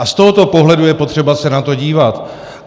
A z tohoto pohledu je potřeba se na to dívat.